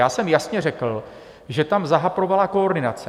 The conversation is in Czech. Já jsem jasně řekl, že tam zahaprovala koordinace.